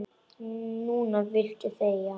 Núna viltu þegja.